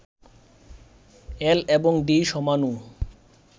এল এবং ডি সমাণু